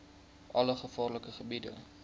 alle gevaarlike gebiede